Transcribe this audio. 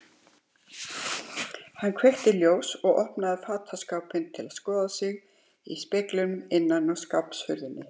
Hann kveikti ljós og opnaði fataskápinn til að skoða sig í speglinum innan á skáphurðinni.